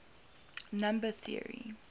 number theory